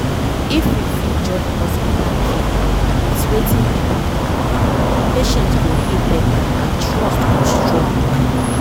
if we fit join hospital care with wetin people believe patients go heal better and trust go strong